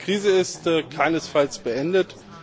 Die Krise ist keinesfalls beendet.